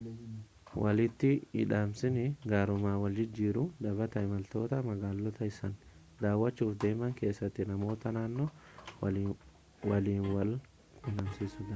walitti-hidhamiinsi gaarummaa wal jijjiiruu dhaabbata imaltoota magaalota isaan daawwachuuf deeman keessatti namoota naannoo waliin wal-quunnamsiisuudha